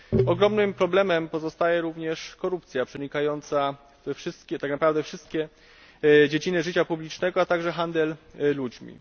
Ogromnym problemem pozostaje również korupcja, przenikająca tak naprawdę wszystkie dziedziny życia publicznego, a także handel ludźmi.